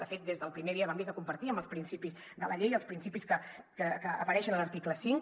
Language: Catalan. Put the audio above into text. de fet des del primer dia vam dir que compartíem els principis de la llei i els principis que apareixen a l’article cinc